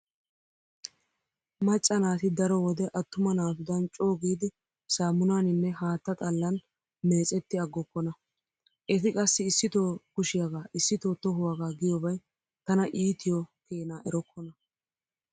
Macca naati daro wode attuma naatudan coogidi saamunaaninne haatta xallan meecetti aggokkona. Eti qassi issito kushiyagaa issito tohuwaga giyobay tana iitiyo keena erokkona.